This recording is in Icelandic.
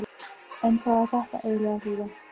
En hvað á þetta eiginlega að þýða?